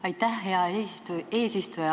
Aitäh, hea eesistuja!